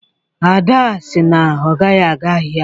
ada sị na ọ gaghị aga ahịa